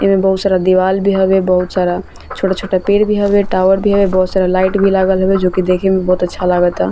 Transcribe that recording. एमे बहुत सारा दिवाल भी हवे बहुत सारा छोटा-छोटा पेड़ भी हवे टावर भी है बहुत सारा लाइट भी लागल हवे जो की देखे मे बहुत अच्छा लागता।